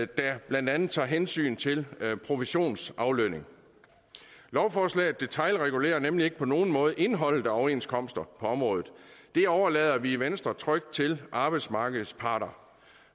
der blandt andet tager hensyn til provisionsaflønning lovforslaget detailregulerer nemlig ikke på nogen måde indholdet af overenskomster på området det overlader vi i venstre trygt til arbejdsmarkedets parter